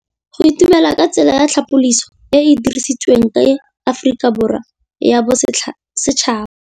Go itumela ke tsela ya tlhapolisô e e dirisitsweng ke Aforika Borwa ya Bosetšhaba.